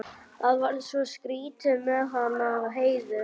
Það var svo skrýtið með hana Heiðu.